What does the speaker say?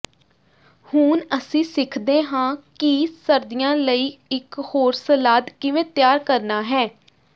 ਹੁਣ ਅਸੀਂ ਸਿੱਖਦੇ ਹਾਂ ਕਿ ਸਰਦੀਆਂ ਲਈ ਇਕ ਹੋਰ ਸਲਾਦ ਕਿਵੇਂ ਤਿਆਰ ਕਰਨਾ ਹੈ